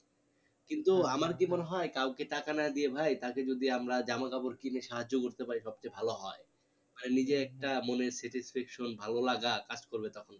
কিন্তু আমার কি মনে হয় কাউকে টাকা না দিয়ে ভাই তাকে যদি আমরা জামা কাপড় কিনে সাহায্য করতে পারি সব চেয়ে ভালো হয় মানে নিজে একটা মনে satisfaction ভালো লাগা কাজ করবে তখন